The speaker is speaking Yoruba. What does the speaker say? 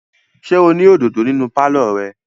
Ṣé o ní òdòdó nínú pálọ̀ rẹ?